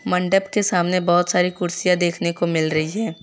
मंडप के सामने बहोत सारी कुर्सियां देखने को मिल रही है।